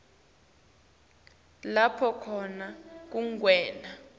lapho khona kungenwe